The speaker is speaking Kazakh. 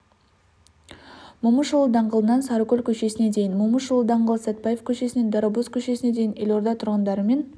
момышұлы даңғылынан сарыкөл көшесіне дейін момышұлы даңғылы сәтбаев көшесінен дарабоз көшесіне дейін елорда тұрғындары мен